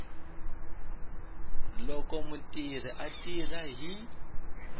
loko mutirhi a tirha hi